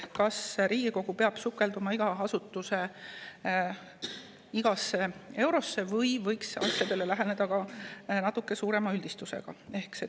Kas Riigikogu peab sukelduma iga asutuse igasse eurosse või võiks asjadele läheneda ka natuke suurema üldistusega?